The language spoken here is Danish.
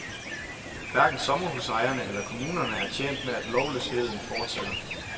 Hverken sommerhusejerne eller kommunerne er tjent med, at lovløsheden fortsætter.